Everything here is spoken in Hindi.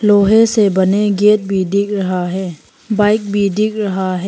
लोहे से बने गेट भी दिख रहा है बाइक भी दिख रहा है।